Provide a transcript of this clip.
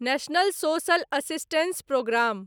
national social assistance programme